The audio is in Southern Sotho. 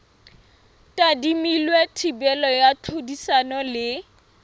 tadimilwe thibelo ya tlhodisano le